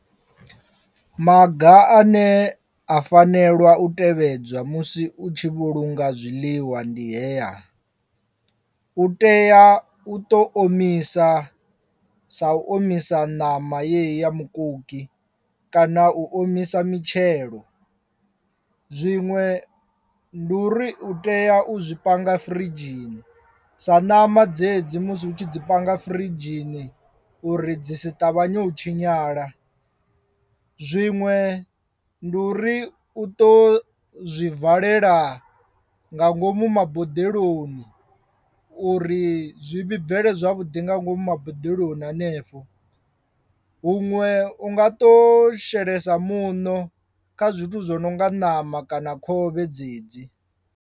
Maga ane a fanelwa u tevhedzwa musi u tshi vhulunga zwiḽiwa ndi hea, u tea u ṱo omisa sa u omisa ṋama yeyi ya mukoki kana u omisa mitshelo, zwiṅwe ndi uri u tea u zwi panga firidzhini sa ṋama dzedzi musi hu tshi dzi panga firidzhini uri dzi si ṱavhanye u tshinyala. Zwiṅwe ndi uri u ṱo zwi valela nga ngomu maboḓeloni uri zwi vhibvele zwavhuḓi nga ngomu boḓeloni hanefho huṅwe unga ṱo shelesa muṋo kha zwithu zwo no nga ṋama kana khovhe dzedzi.